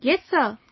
Yes sir